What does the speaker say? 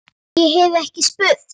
En- ég hef ekki spurt.